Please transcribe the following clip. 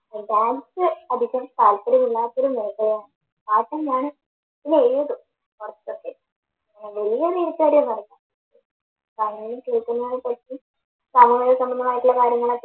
dance അധികം താല്പര്യമില്ലാത്തൊരു മേഖലയാണ് കാരണം ഞാന് സംബന്ധമായിട്ടുള്ള കാര്യങ്ങളൊക്കെ